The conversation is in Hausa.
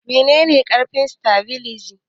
Nawane karfin satabiliza?